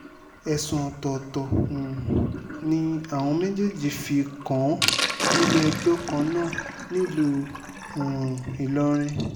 ẹ̀sùn ọ̀tọ̀ọ̀tọ̀ um ni àwọn méjèèjì fi kàn án nílé-ẹjọ́ kan náà nílùú um ìlọrin